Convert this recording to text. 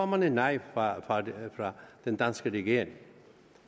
man et nej fra den danske regering